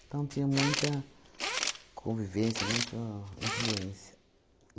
Então, tinha muita convivência, muita influência.